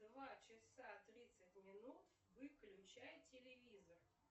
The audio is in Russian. два часа тридцать минут выключай телевизор